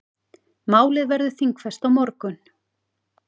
Málið verður þingfest á morgun.